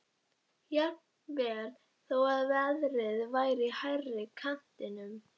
Jafnvel þó að verðið væri í hærri kantinum.